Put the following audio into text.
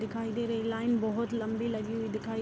दिखाई दे रही लाइन बहुत लम्बी लगी हुई दिखाई --